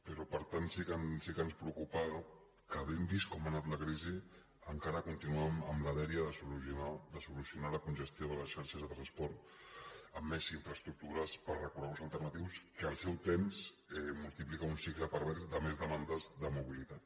però per tant sí que ens preocupa que havent vist com ha anat la crisi encara continuem amb la dèria de solucionar la congestió de les xarxes de transport amb més infraestructures per a recorreguts alternatius que al seu temps multipliquen un cicle pervers de més demandes de mobilitat